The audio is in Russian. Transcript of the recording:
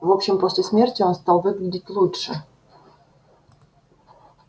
в общем после смерти он стал выглядеть лучше